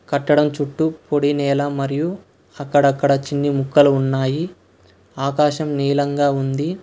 కట్టడం చుట్టూ పొడి నేల మరియు అక్కడక్కడా చిన్ని ముక్కలు ఉన్నాయి ఆకాశం నీలంగా ఉంది.